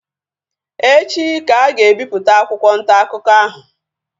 Echi ka a ga-ebipụta akwụkwọ ntaakụkọ ahụ